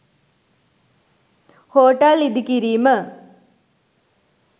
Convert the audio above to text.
hotel ඉදිකිරීම